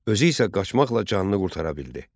Özü isə qaçmaqla canını qurtara bildi.